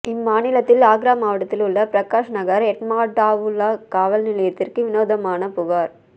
இம்மாநிலத்தில் ஆக்ரா மாவட்டத்தில் உள்ள பிரகாஷ் நகர் எட்மாடுடாவுலா காவல் நிலையத்திற்கு விநோதமான புகார்